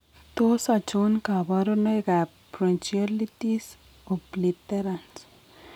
Tos achon kabarunaik ab bronchiolitis obliterans